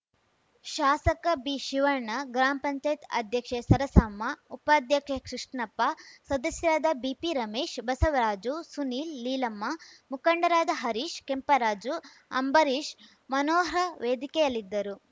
ಶಾಸಕ ಬಿಶಿವಣ್ಣ ಗ್ರಾಮ್ ಪಂಚಾಯತ್ ಅಧ್ಯಕ್ಷೆ ಸರಸಮ್ಮ ಉಪಾಧ್ಯಕ್ಷ ಕೃಷ್ಣಪ್ಪ ಸದಸ್ಯರಾದ ಬಿಪಿರಮೇಶ್‌ ಬಸವರಾಜು ಸುನಿಲ್‌ ಲೀಲಮ್ಮ ಮುಖಂಡರಾದ ಹರೀಶ್‌ ಕೆಂಪರಾಜು ಅಂಬರೀಶ್‌ ಮನೋಹ್ರ ವೇದಿಕೆಯಲ್ಲಿದ್ದರು